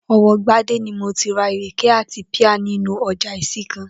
O̩wó̩ Gbadé ni mo ti ra ìrèké àti píà nínú o̩jà Ìsìnkàn